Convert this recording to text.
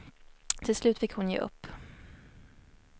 Till slut fick hon ge upp.